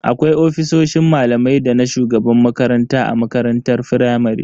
Akwai ofisoshin malamai dana shugaban makaranta a makarantar firamare.